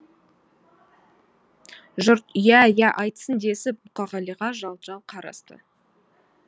жұрт иә иә айтсын десіп мұқағалиға жалт жалт қарасты